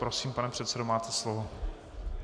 Prosím, pane předsedo, máte slovo.